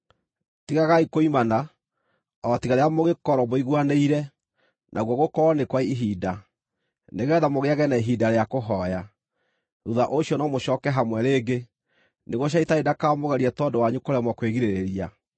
Tigagai kũimana, o tiga rĩrĩa mũngĩkorwo mũiguanĩire, naguo gũkorwo nĩ kwa ihinda, nĩgeetha mũgĩĩage na ihinda rĩa kũhooya. Thuutha ũcio no mũcooke hamwe rĩngĩ, nĩguo Shaitani ndakamũgerie tondũ wanyu kũremwo kwĩgirĩrĩria.